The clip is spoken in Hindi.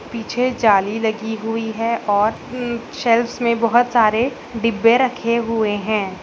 पीछे जाली लगी हुई है और अ शेल्फ्स में बोहोत सारे डिब्बे रखे हुए हैं।